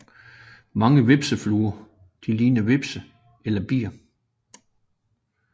Mange hvepsefluer ligner hvepse eller bier